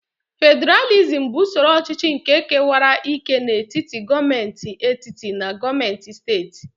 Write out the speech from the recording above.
Fediralizm bụ usoro ọchịchị nke kewara ike n'etiti gọọmentị etiti na gọọmentị steeti.